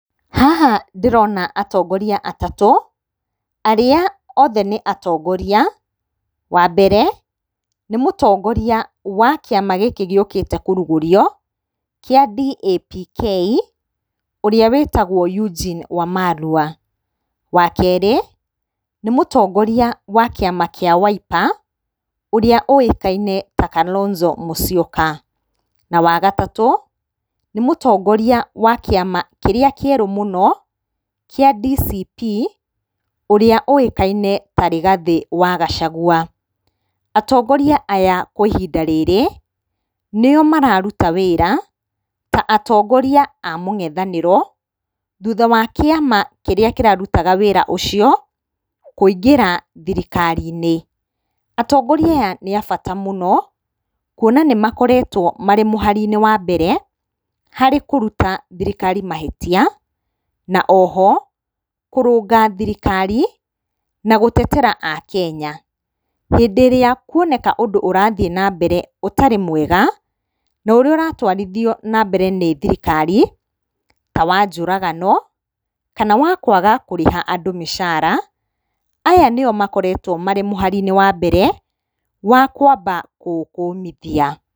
Haha ndĩrona atongoria atatũ arĩa othe nĩ atongoria. Wambere nĩ mũtongoria wa kĩama gĩkĩ gĩũkĩte kũrugũrio kĩa DAP-K ũrĩa wĩtagwo Eugene Wamalwa. Wakerĩ nĩ mũtongoria wa kĩama kĩa Wiper ũrĩa ũikaine ta Kalonzo Musyoka. Na wagatatũ nĩmũtongoria wa kĩama kĩrĩa kĩerũ mũno kĩa DCP ũrĩa ũĩkaine ta Rĩgathĩ wa Gachagua. Atongoria aya kwa ihinda rĩrĩ nĩo mararuta wĩra ta atongoria a mũng'ethanĩro thutha wa kĩama kĩrĩa kĩrarutaga wĩra ũcio kũingĩra thirikari-inĩ. Atongoria aya nĩ a bata mũno kuona nĩ makoretwo marĩ mũharinĩ wa mbere harĩ kũruta thirikari mahĩtia na oho kũrũnga thirikari na gũtetera akenya. Hĩndĩ ĩrĩa kuoneka ũndũ ũrathiĩ na mbere ũtarĩ mwega na ũrĩa ũratwarithio na mbere nĩ thirikari ta wa njũragano kana wa kwaga kũrĩha andũ mĩcara, aya nĩo makoretwo marĩ mũhari-inĩ wa mbere wa kwamba kũũkũmithia.